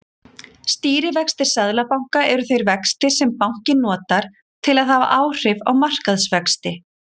Stýrivextir seðlabanka eru þeir vextir sem bankinn notar til að hafa áhrif á markaðsvexti.